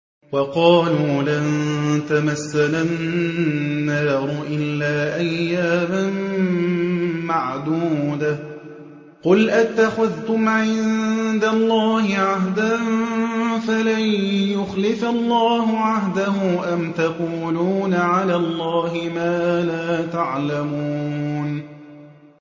وَقَالُوا لَن تَمَسَّنَا النَّارُ إِلَّا أَيَّامًا مَّعْدُودَةً ۚ قُلْ أَتَّخَذْتُمْ عِندَ اللَّهِ عَهْدًا فَلَن يُخْلِفَ اللَّهُ عَهْدَهُ ۖ أَمْ تَقُولُونَ عَلَى اللَّهِ مَا لَا تَعْلَمُونَ